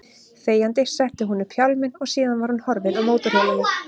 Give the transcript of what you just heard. Þegjandi setti hún upp hjálminn og síðan var hún horfin á mótorhjólinu.